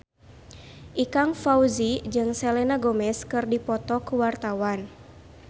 Ikang Fawzi jeung Selena Gomez keur dipoto ku wartawan